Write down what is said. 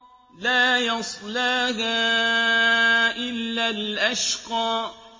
لَا يَصْلَاهَا إِلَّا الْأَشْقَى